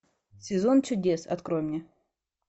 сезон чудес открой мне